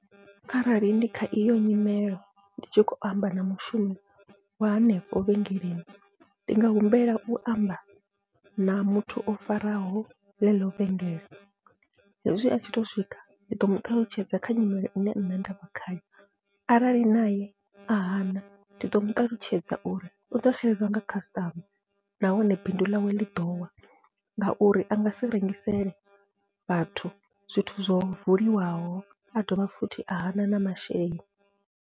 Arali ndi kha iyo nyimelo ndi tshi khou amba na mushumi wa hanefho vhengeleni, ndi nga humbela u amba na muthu o faraho ḽeḽo vhengele hezwi atshi to swika ndi ḓo muṱalutshedza kha nyimele ine nṋe ndavha khayo, arali naye a hana ndi ḓo muṱalutshedza uri uḓo xelelwa nga khasiṱama nahone bindu ḽawe ḽi ḓowa. Ngauri angasi rengisele vhathu zwithu zwo vuliwaho a dovha futhi a hana na masheleni.